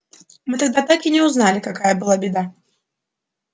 мы тогда так и не узнали какая была беда